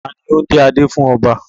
Ta ni ó ń dé adé fún ọba?